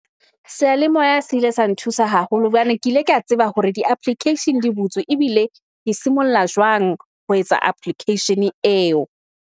Seyalemoya se ile sa nthusa haholo, hobane ke ile ka tseba hore di-application di butswe ebile ke simolla jwang ho etsa application-e eo.